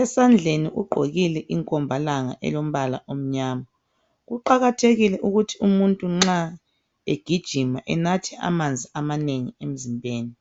Esandleni ugqoke inkombalanga elombala omnyama. Kuqakathekile ukuthi nxa umuntu egijima enathe amanzi amanengi emzimbeni.